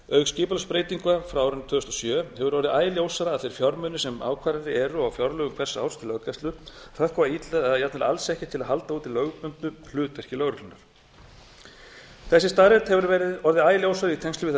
auk skipulagsbreytinga frá árinu tvö þúsund og sjö hefur orðið æ ljósara að þeir fjármunir sem ákvarðaðir eru á fjárlögum hvers árs til löggæslu hrökkva illa eða jafnvel alls ekki til að halda úti lögbundnu hlutverki lögreglunnar þessi staðreynd hefur orðið æ ljósari í tengslum við þær